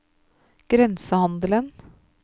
grensehandelen